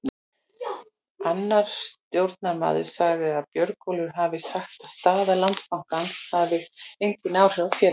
Annar stjórnarmaður sagði að Björgólfur hafi sagt að staða Landsbankans hefði engin áhrif á félagið.